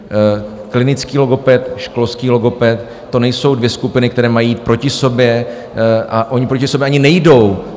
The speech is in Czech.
Klinický logoped, školský logoped, to nejsou dvě skupiny, které mají jít proti sobě, a ony proti sobě ani nejdou.